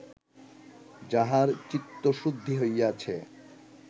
যাহার চিত্তশুদ্ধি হইয়াছে